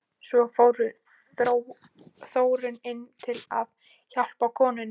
Svo fór Þórunn inn til að hjálpa konunni.